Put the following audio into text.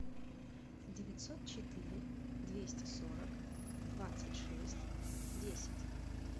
девятьсот четыре двести сорок двадцать шесть десять